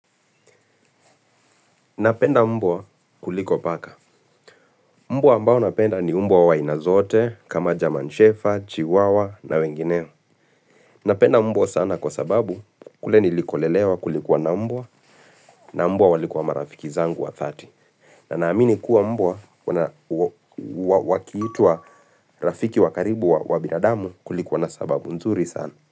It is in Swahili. Napenda mbwa kuliko paka. Mbwa ambao napenda ni mbwa wa aina zote kama german shepherd, chihuahua na wengineo. Napenda mbwa sana kwa sababu kule nilikolelewa kulikuwa na mbwa na mbwa walikuwa marafiki zangu wa dhati. Na naamini kuwa mbwa wakiitwa rafiki wa karibu wa binadamu kulikuwa na sababu nzuri sana.